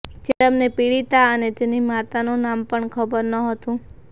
ત્યારે અમને પીડિતા અને તેની માતાનું નામ પણ ખબર ન હતું